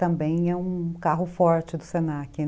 Também é um carro forte do se na que